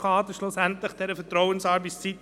Ja, es braucht eine gewisse Kompensation.